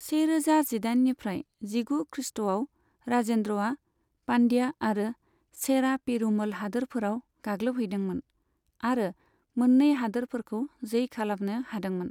सेरोजा जिदाइननिफ्राय जिगु खृष्ट'आव, राजेन्द्रआ पान्ड्या आरो चेरा पेरुमल हादोरफोराव गाग्लोबहैदोंमोन आरो मोननै हादोरफोरखौ जै खालामनो हादोंमोन।